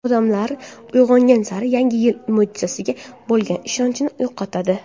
Odamlar ulg‘aygan sari Yangi yil mo‘jizasiga bo‘lgan ishonchini yo‘qotadi.